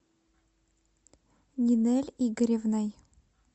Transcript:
нинель игоревной